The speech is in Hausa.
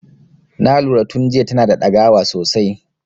Na lura tun jiya tana da dagawa sosai.